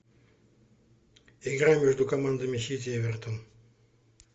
игра между командами сити эвертон